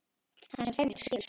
Hann er svo feiminn, þú skilur.